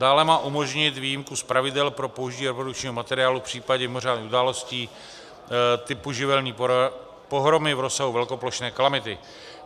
Dále má umožnit výjimku z pravidel pro použití reprodukčního materiálu v případě mimořádných událostí typu živelní pohromy v rozsahu velkoplošné kalamity.